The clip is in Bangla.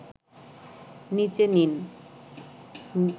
নিচে নন